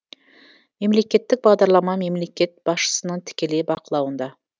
мемлекеттік бағдарлама мемлекет басшысының тікелей бақылауында